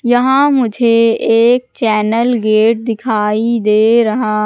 यहां मुझे एक चैनल गेट दिखाई दे रहा--